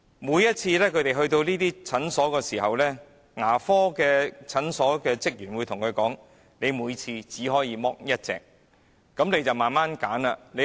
每次他們來到這些牙科診所時，職員會對他們說："你每次只可以脫1枚牙齒"。